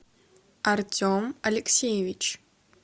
артем алексеевич